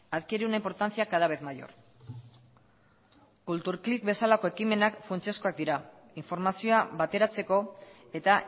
adquiere una importancia cada vez mayor kulturklik bezalako ekimenak funtsezkoak dira informazioa bateratzeko eta